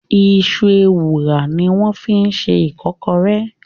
Iṣu Ewùrà ni wọ́n fi ṣe Ìkọ́kọrẹ́